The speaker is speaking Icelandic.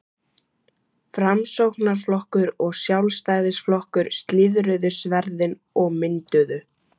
Framsóknarflokkur og Sjálfstæðisflokkur slíðruðu sverðin og mynduðu